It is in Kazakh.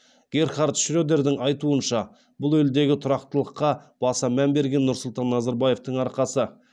герхард шредердің айтуынша бұл елдегі тұрақтылыққа баса мән берген нұрсұлтан назарбаевтың арқасы